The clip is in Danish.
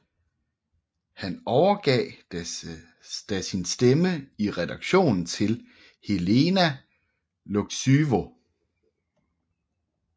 Han overgav da sin stemme i redaktionen til Helena Łuczywo